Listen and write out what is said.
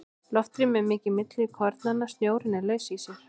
Loftrými er mikið milli kornanna, snjórinn er laus í sér.